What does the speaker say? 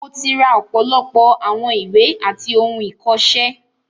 Mo ti ra ọ̀pọ̀lọpọ̀ àwọn ìwé àti ohun ìkọ̀ṣẹ́.